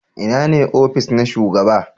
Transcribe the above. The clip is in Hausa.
Ina ne ofis na shugaba?